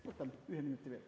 Võtan ühe minuti veel.